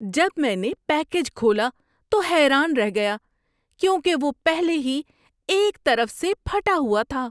جب میں نے پیکیج کھولا تو حیران رہ گیا کیونکہ وہ پہلے ہی ایک طرف سے پھٹا ہوا تھا!